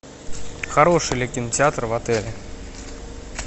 хороший ли кинотеатр в отеле